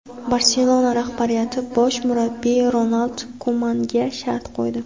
"Barselona" rahbariyati bosh murabbiy Ronald Kumanga shart qo‘ydi.